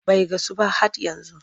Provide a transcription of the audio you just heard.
Bai gasu ba hhat yanzu.